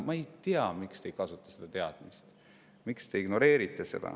Ma ei tea, miks te ei kasuta seda teadmist, miks te seda ignoreerite.